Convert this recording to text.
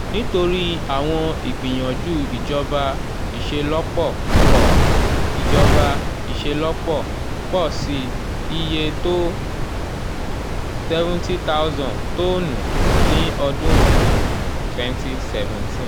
nitori awọn igbiyanju ijọba iṣelọpọ pọ ijọba iṣelọpọ pọ si iye to seventy thousand tonnu ni ọdun um twenty seventeen.